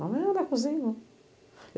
Mas